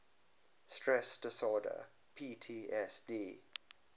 stress disorder ptsd